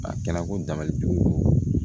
A kɛnɛ ko dabali bi